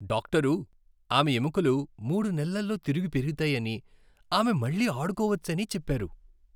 Doctor ఆమె ఎముకలు మూడు నెలల్లో తిరిగి పెరుగుతాయని, ఆమె మళ్ళీ అడుకోవచ్చని చెప్పారు.